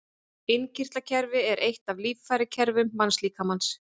Innkirtlakerfi er eitt af líffærakerfum mannslíkamans.